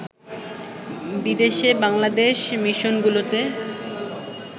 বিদেশে বাংলাদেশ মিশনগুলোতে